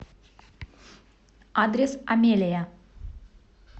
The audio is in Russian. адрес амелия